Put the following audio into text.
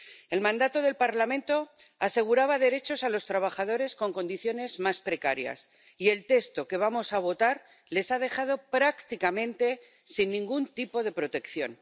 El mandato del Parlamento aseguraba derechos a los trabajadores con condiciones más precarias y el texto que vamos a votar les ha dejado prácticamente sin ningún tipo de protección.